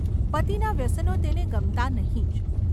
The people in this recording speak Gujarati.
પતિના વ્યસનો તેને ગમતાં નહિ જ.